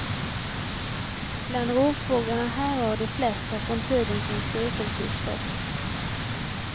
Bland rovfåglarna härrör de flesta från tiden kring sekelskiftet.